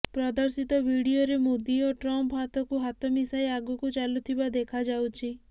ପ୍ରଦର୍ଶିତ ଭିଡ଼ିଓରେ ମୋଦୀ ଓ ଟ୍ରମ୍ପ ହାତକୁ ହାତ ମିଶାଇ ଆଗକୁ ଚାଲୁଥିବା ଦେଖାଯାଉଛି